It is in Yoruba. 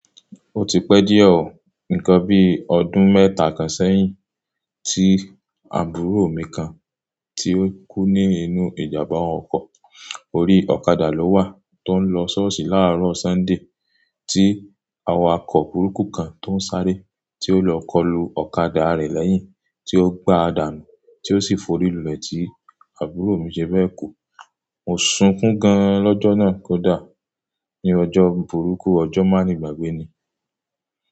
Ó ti pẹ́ díẹ̀ oo, nǹkan bíi ọdún mẹ́ta kan sẹ́yìn, tí àbúrò mi kan tí ó kú nínú ìjàmbá ọkọ̀. Orí ọ̀kadà ló wà tó ń lọ ṣọ́ọ̀ṣì láàárọ̀ Sunday, tí awakọ̀ burúkú kan tó ń sáré tí ó lọ kọlu ọ̀kadà rẹ̀ lẹ́yìn tí ó gba àdànu tí ó sì forí lulẹ̀ tí àbúrò mi ṣe bẹ́ẹ̀ kú. Mo sunkún gan lọ́jọ́ náà kó dà ní ọjọ́ burúkú, ọjọ́ máa ni gbàgbé ni.